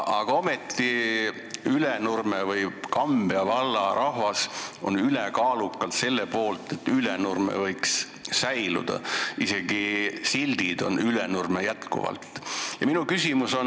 Ometi on Ülenurme või Kambja valla rahvas ülekaalukalt selle poolt, et Ülenurme võiks säilida, isegi sildid on seal alles.